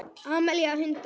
Amelía: Hundar.